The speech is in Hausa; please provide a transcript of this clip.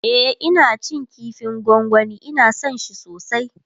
e Ina cin kifin gwangwani Ina San shi sosai